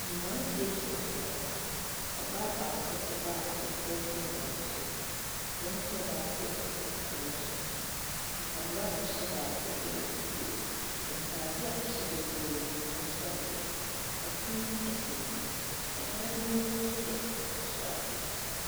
Mmaranteɛ gyina gyina hɔ ɔbaa te hɔ abɔfra si nan so abranteɛ baako te akonnwa so mpaboa ɛhy baako ɛyɛ fufoɔ ntaadeɛ ɛhyɛ bebree yɛ akokɔ seradeɛ ɛpono sihɔ ɛdan ne mu yɛ akokɔ seradeɛ.